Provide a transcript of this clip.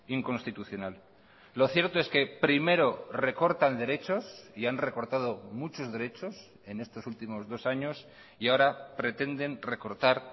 inconstitucional lo cierto es que primero recortan derechos y han recortado muchos derechos en estos últimos dos años y ahora pretenden recortar